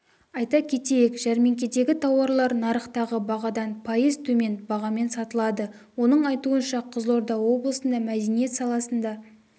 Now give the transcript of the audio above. айта кетейік жәрмеңкедегі тауарлар нарықтағы бағадан пайыз төмен бағамен сатылады оның айтуынша қызылорда облысында мәдениет саласында